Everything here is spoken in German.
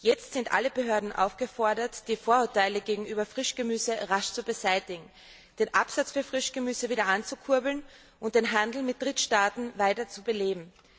Jetzt sind alle Behörden aufgefordert, die Vorurteile gegenüber Frischgemüse rasch zu beseitigen, den Absatz für Frischgemüse wieder anzukurbeln und den Handel mit Drittstaaten weiter zu beleben.